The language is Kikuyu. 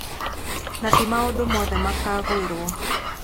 Na ti maũndũ mothe makaaguũrio.